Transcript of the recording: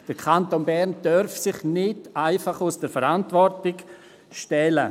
Der Kanton Bern darf sich nicht einfach aus der Verantwortung stehlen.